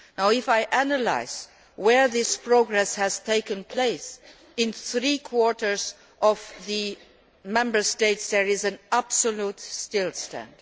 If I analyse where this progress has taken place, in three quarters of the Member States matters are at an absolute standstill.